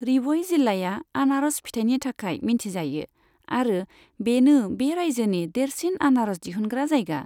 रिभइ जिल्लाया आनारस फिथाइनि थाखाय मिन्थिजायो आरो बेनो बे राइजोनि देरसिन आनारस दिहुनग्रा जायगा।